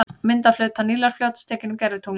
Mynd af hluta Nílarfljóts, tekin úr gervitungli.